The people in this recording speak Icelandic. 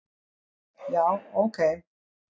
Já, ok